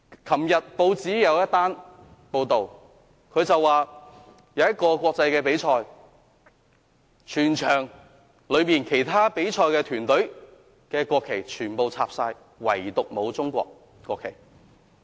昨天有報章報道，在一個國際比賽上，插上了其他比賽團隊的國旗，唯獨沒有中國國旗。